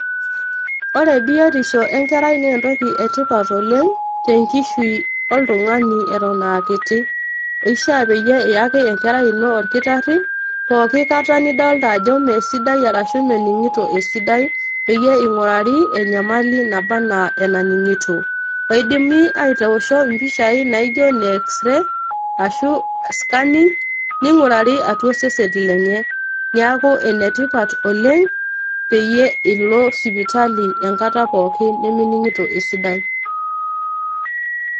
Ore biotisho enkerai naa entoki e tipat oleng tenkishui oltungani eton aa kiti. ishiaa peyie iyaki enkerai ino orkitari pooki kata nidolta ajo mmee sidai ashu meningito esidai peyie ingurari enyamali pookin naba ana enaningito. eidimi aitoosho mpishai naijo ine x-ray ashu scanning ningurari atua osesen lenye . niaku ene tipat oleng peyie ilo sipitali enkata pookin niminingito esidai.